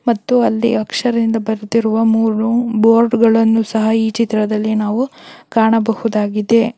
ಮತ್ತು ಅಲ್ಲಿ ಅಕ್ಷರದಿಂದ ಬರೆದಿರುವ ಮೂರು ರೂಮ್ ಬೋರ್ಡ್ಗಳನ್ನು ಸಹ ಈ ಚಿತ್ರದಲ್ಲಿ ನಾವು ಕಾಣಬಹುದಾಗಿದೆ.